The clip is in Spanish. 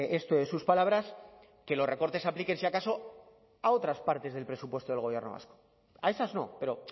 esto de sus palabras que los recortes se apliquen si acaso a otras partes del presupuesto del gobierno vasco a esas no pero